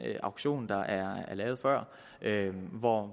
auktion der er lavet hvor